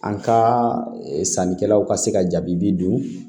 An ka sannikɛlaw ka se ka jaabi don